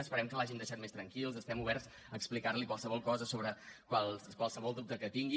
esperem que l’hàgim deixat més tranquil estem oberts a explicar li qualsevol cosa sobre qualsevol dubte que tingui